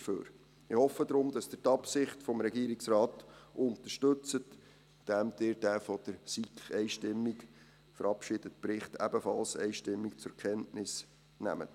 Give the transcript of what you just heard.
Ich hoffe deshalb, dass Sie die Absicht des Regierungsrates unterstützen, indem Sie den von der SiK einstimmig verabschiedeten Bericht ebenfalls einstimmig zur Kenntnis nehmen.